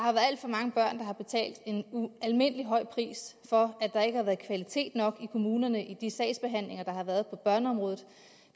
har betalt en ualmindelig høj pris for at der ikke har været kvalitet nok i kommunerne i de sagsbehandlinger der har været på børneområdet